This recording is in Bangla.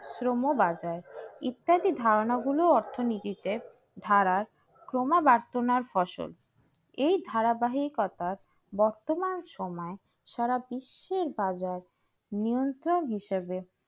পণ্য বাজার ইত্যাদি ধারণা গুলো অর্থনীতিতে ধারার ফসল এই ধারাবাহিকতার বর্তমান সময় সারা বিশ্বের বাজার নিয়ন্ত্রণ হিসাবে